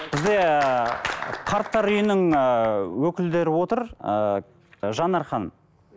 бізде қарттар үйінің ыыы өкілдері отыр ыыы жанар ханым